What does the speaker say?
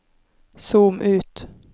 zoom ut